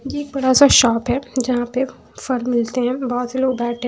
ये एक बड़ा सा शॉप है जहाँ पे फल मिलते हैं बहुत से लोग बैठे--